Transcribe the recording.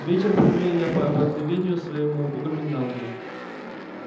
вечер провёл я по обыкновению своему у коменданта